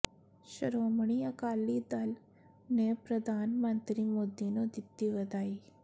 ਸ਼੍ਰੋਮਣੀ ਅਕਾਲੀ ਦਲ ਨੇ ਪ੍ਰਧਾਨ ਮੰਤਰੀ ਮੋਦੀ ਨੂੰ ਦਿੱਤੀ ਵਧਾਈ